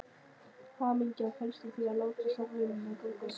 Hamingjan felst í því að láta samvinnuna ganga upp.